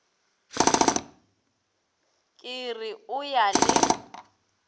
ke re o ya le